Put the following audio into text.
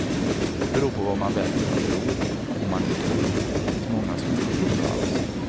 Det beror på vad man väljer att tro, om man nu tror, det finns många som inte tror alls.